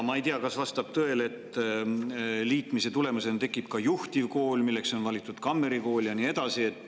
Ma ei tea, kas see vastab tõele, aga liitmise tulemusena tekib ka juhtivkool, milleks on valitud Kammeri Kool, ja nii edasi.